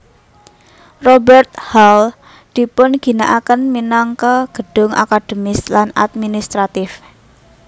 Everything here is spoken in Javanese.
Robert Hall dipunginakaken minangka gedung akademis lan administratif